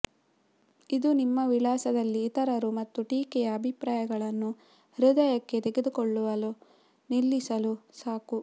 ಇದು ನಿಮ್ಮ ವಿಳಾಸದಲ್ಲಿ ಇತರರು ಮತ್ತು ಟೀಕೆಯ ಅಭಿಪ್ರಾಯಗಳನ್ನು ಹೃದಯಕ್ಕೆ ತೆಗೆದುಕೊಳ್ಳುವ ನಿಲ್ಲಿಸಲು ಸಾಕು